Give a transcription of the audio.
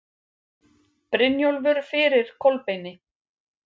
Brynjólfur fyrir Kolbeini.